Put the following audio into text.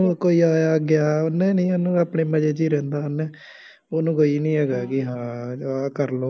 ਕੋਈ ਆਇਆ ਗਿਆ ਉਹਨੇ ਨਹੀਂ ਉਹਨੂੰ ਉਹ ਤਾਂ ਆਪਣੇ ਮਜ਼ੇ ਚ ਹੀ ਰਹਿੰਦਾ ਹੈ ਨਾ ਉਹਨੂੰ ਕੋਈ ਹੈਗਾ ਬਈ ਹਾਂ ਆਹ ਕਰ ਲਉ